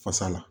Fasa la